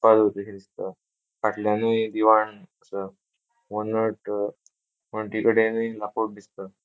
पल अशे किदे दिसता फाटल्यानूय दिवाण असा हो नट अ पंटीकडेनऊय लाकूड दिसता.